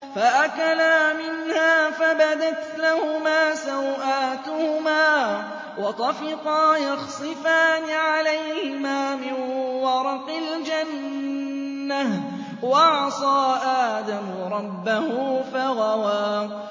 فَأَكَلَا مِنْهَا فَبَدَتْ لَهُمَا سَوْآتُهُمَا وَطَفِقَا يَخْصِفَانِ عَلَيْهِمَا مِن وَرَقِ الْجَنَّةِ ۚ وَعَصَىٰ آدَمُ رَبَّهُ فَغَوَىٰ